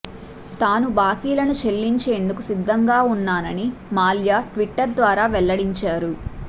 తాను బాకీలను చెల్లించేందుకు సిద్ధంగా ఉన్నానని మాల్యా ట్విట్టర్ ద్వారా వెల్లడించారు